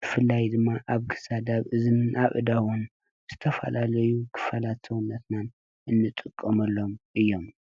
ብፍላይ ድማ ኣብ ክሳድ፣ ኣብ እዝኒ፣ ኣብ አእዳውን ዝተፋለለዩ ክፋላት ሰውነትና እንጥቀመሎም እዩም።